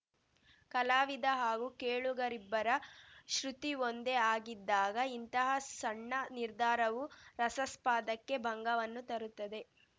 ಕಲಾವಿದ ಹಾಗೂ ಕೇಳುಗರಿಬ್ಬರ ಶ್ರುತಿ ಒಂದೇ ಆಗಿದ್ದಾಗ ಇಂತಹ ಸಣ್ಣ ನಿರ್ಧಾರವು ರಸಾಸ್ಪಾದಕ್ಕೆ ಭಂಗವನ್ನು ತರುತ್ತದೆ